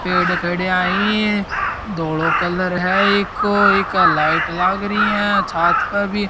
पेड़ खड़ा है धोळो कलर है एको एक लाइट लागरी है छात पे भी --